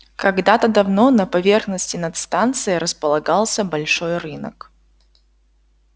когда-то давно на поверхности над станцией располагался большой рынок